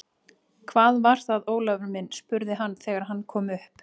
Hvað var það, Ólafur minn? spurði hann þegar hann kom upp.